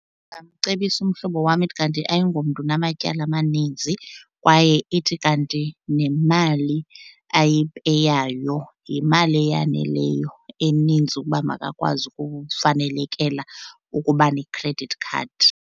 Ndingamcebisa umhlobo wam ithi kanti ayingomntu unamatyala amaninzi kwaye ithi kanti nemali ayipeyayo yimali eyaneleyo eninzi ukuba makakwazi ukufanelekela ukuba ne-credit card.